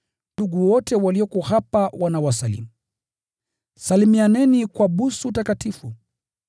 Ndugu wote walioko hapa wanawasalimu. Salimianeni kwa busu takatifu.